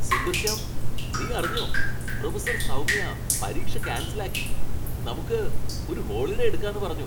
സുന്ദർശ്യാം, നി അറിഞ്ഞോ ? പ്രൊഫസർ സൗമ്യ പരീക്ഷ ക്യാൻസൽ ആക്കി, നമുക്ക് ഒരു ഹോളിഡേ എടുക്കാന്ന് പറഞ്ഞു!